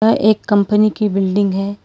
यह एक कंपनी की बिल्डिंग है।